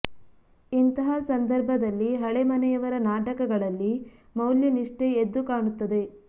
ಇಂತಹ ಸಂದರ್ಭ ದಲ್ಲಿ ಹಳೆಮನೆಯವರ ನಾಟಕಗಳಲ್ಲಿ ಮೌಲ್ಯ ನಿಷ್ಠೆ ಎದ್ದು ಕಾಣುತ್ತದೆ